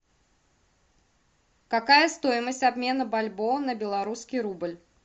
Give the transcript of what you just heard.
какая стоимость обмена бальбоа на белорусский рубль